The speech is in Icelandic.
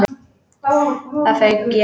Það fauk í hann.